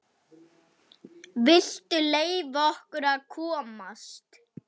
VILTU LEYFA OKKUR AÐ KOMAST!